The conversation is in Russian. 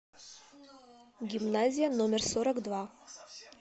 гимназия номер сорок два